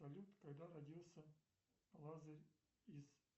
салют когда родился лазарь из